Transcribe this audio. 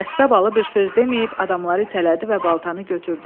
Qəssabalı bir söz deməyib, adamları itələdi və baltanı götürdü.